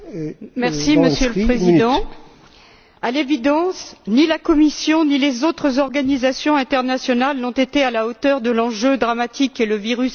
Monsieur le Président, à l'évidence, ni la Commission, ni les autres organisations internationales n'ont été à la hauteur de l'enjeu dramatique qu'est le virus Ebola.